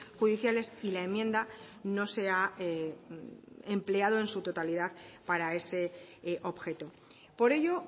judiciales y la enmienda no se ha empleado en su totalidad para ese objeto por ello